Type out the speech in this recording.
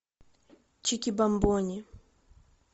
чики бамбони